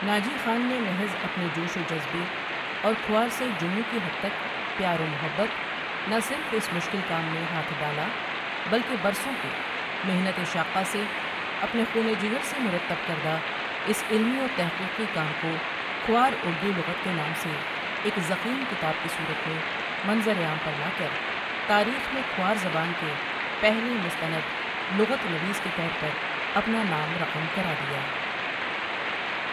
ناجی خان نے مخص اپنے جوش و جذبے اور کھوار سے جنوں کی حد تک پیار و محبت نہ صرف اس مشکل کام میں ہاتھ ڈالا بلکہ برسوں کے محنت شاقہ سے اپنے خون جگر سے مرتب کردہ اس علمی و تخقیقی کام کو کھوار اردو لغت کے نام سے ایک ضخیم کتاب کی صورت میں منظر عام پر لا کر تاریخ میں کھوار زبان کے پہلے مستند لغت نویس کے طور پر اپنا نام رقم کرادیا ۔